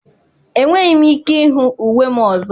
Enweghị m ike ịhụ uwe m ọzọ.